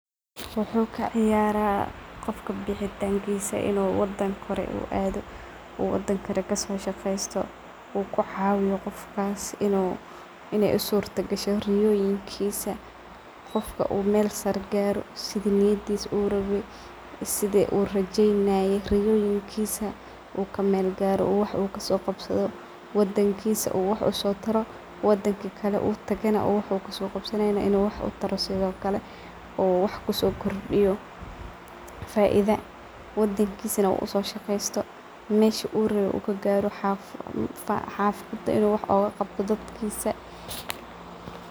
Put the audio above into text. Waxu kaciyarah qofka bixitankisa in uu wadan kore uu ado uu wadan kale kasoshaqesto , uu kucawiyo qofkas in ay usurtagasho riyoyinkisa karumeyo. in rajadisa kamira dalo lacag badhan helo , wadankisa u wax uqabto sidokale wadanka uu jogo wax uu kasoqabsanaye sidhokale wax kusokordiyo . Meshi uu rawe garo xafada uu wax ugaqabto dadkisa